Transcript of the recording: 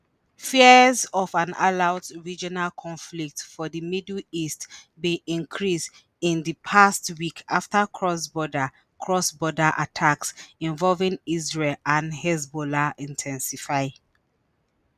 fears of an all-out regional conflict for di middle east bin increase in di past week after cross-border cross-border attacks involving israel and hezbollah in ten sify.